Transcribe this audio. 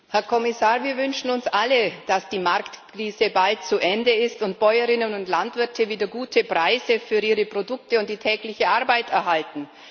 Herr Präsident, Herr Kommissar! Wir wünschen uns alle, dass die Marktkrise bald zu Ende ist und Bäuerinnen und Landwirte wieder gute Preise für ihre Produkte und die tägliche Arbeit erhalten.